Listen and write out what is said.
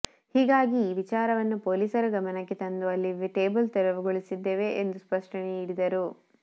ಹೀಗಾಗಿ ಆ ವಿಚಾರವನ್ನ ಪೊಲೀಸರ ಗಮನಕ್ಕೆ ತಂದು ಅಲ್ಲಿ ಟೇಬಲ್ ತೆರವುಗೊಳಿಸಿದ್ದೇವೆ ಎಂದು ಸ್ಪಷ್ಟನೆ ನೀಡಿದರು